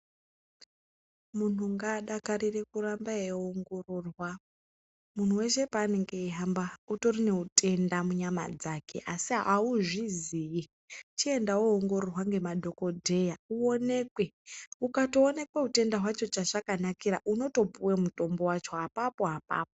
Munhu ngaadakarire kuramba eiongororwa, munhu weshe paanenge ari utori neutenda munyama dzake asi auzvizii chienda woongororwa ngemadhogodheya uonekwe, ukatooneka utenda hwacho chazvakanakira unotopuwe mutombo wacho apapo apapo.